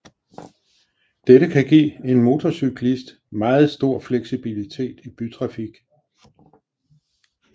Dette kan give en motorcyklist meget stor fleksibilitet i bytrafik